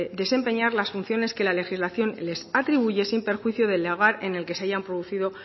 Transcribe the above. desempeñar las funciones que la legislación les atribuye sin perjuicio del lugar en el que se hayan producido